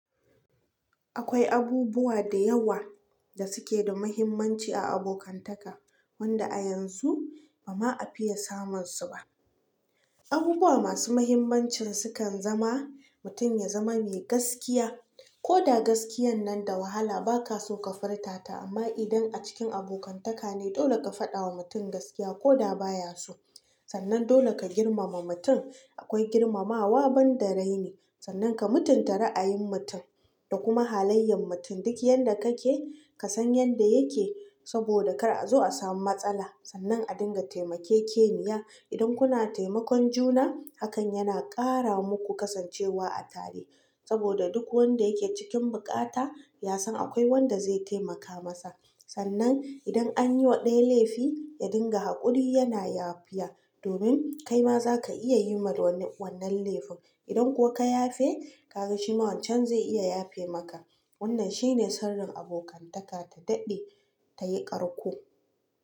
Akwai abubuwa da yawa da suke da muhimmanci a abokantaka, wanda a yanzu ba ma a fiya samun su ba. Abubuwa masu muhimmancin sukan zama mutum ya zama mai gaskiya, koda gaskiyan nan da wahala ba ka so ka furta ta amma idan a cikin abokantaka ne dole ka fadawa mutum gaskiya koda baya so. Sannan dole ka girmama mutum, akwai girmamawa ban da rai ne. Sannan ka mutunta ra a yin mutum da kuma halayyan mutum duk yanda kake ka san yanda yake saboda kar a zo a samu matsala. Sannan a dinga taimakekeniya, idan kuna taimakon juna hakan yana kara muku kasancewa a tare saboda duk wanda yake cikin bukata ya san akwai wanda zai taimaka masa. Sannan idan anyi wa ɗaya laifi ya dinga haƙuri yana yafiya domin kai ma za ka iya yi ma wani wannan laifin. Idan kuwa ka yafe ka ga shi ma wancan zai iya yafe maka. Wannan shine sirrin abokantaka ta daɗe ta yi ƙarko.